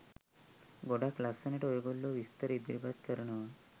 ගොඩක් ලස්සනට ඔයගොල්ලො විස්තර ඉදිරිපත් කරනවා.